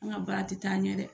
An ka baara tɛ taa ɲɛ dɛ!